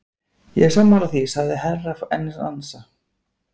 Ég er sammála því, sagði Herra Enzana.